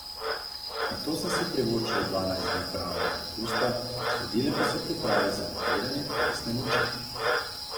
Nato sem si privoščila dvanajst dni pravega dopusta, sledile pa so priprave za nabiranje telesne moči.